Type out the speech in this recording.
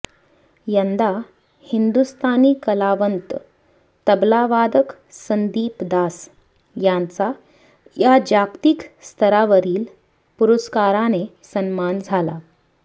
यंदा हिंदुस्थानी कलावंत तबलावादक संदीप दास यांचा या जागतिक स्तरावरील पुरस्काराने सन्मान झाला